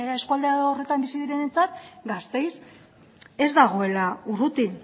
eskualde horretan bizi direnentzat gasteiz ez dagoela urruti